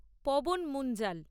Pawan Munjal